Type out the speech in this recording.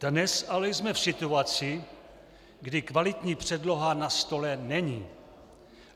Dnes ale jsme v situaci, kdy kvalitní předloha na stole není.